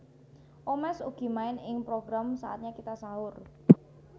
Omesh ugi main ing program Saatnya Kita Sahur